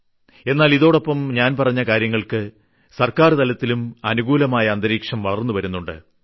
എന്നാൽ ഇതോടൊപ്പം ഞാൻ പറഞ്ഞ കാര്യങ്ങൾക്ക് സർക്കാർ തലത്തിലും അനുകൂലമായ അന്തരീക്ഷം വളർന്നുവരുന്നുണ്ട്